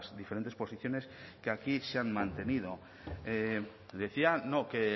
diferentes posiciones que aquí se han mantenido decía no que